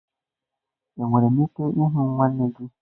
Enwere m ike ịhụ nwanne gị?